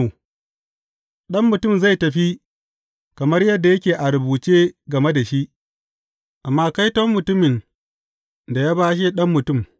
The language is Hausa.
Ɗan Mutum zai tafi kamar yadda yake a rubuce game da shi, amma kaiton mutumin da ya bashe Ɗan Mutum!